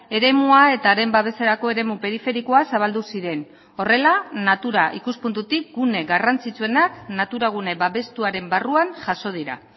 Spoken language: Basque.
eremua eta haren babeserako eremu periferikoa zabaldu ziren horrela natura ikuspuntutik gune garrantzitsuenak natura gune babestuaren barruan jaso dira